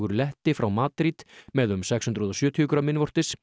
letti frá Madrid með um sex hundruð og sjötíu grömm innvortis